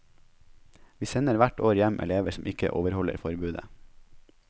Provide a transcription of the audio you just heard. Vi sender hvert år hjem elever som ikke overholder forbudet.